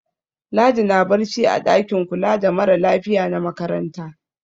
Ladi na barci a ɗakin kula da mara lafiya na makaranta.